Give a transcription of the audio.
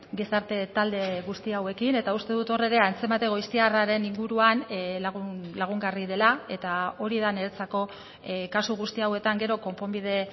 gizarte talde guzti hauekin eta uste dut hor ere antzemate goiztiarraren inguruan lagungarri dela eta hori da niretzako kasu guzti hauetan gero konponbide